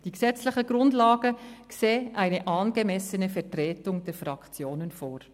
Die gesetzlichen Grundlagen sehen eine angemessene Vertretung der Fraktionen vor.